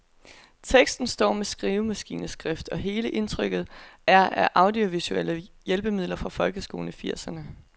Teksten står med skrivemaskineskrift, og hele indtrykket er af audiovisuelle hjælpemidler fra folkeskolen i firserne.